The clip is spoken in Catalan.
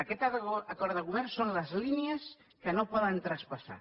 aquest acord de govern són les línies que no poden traspassar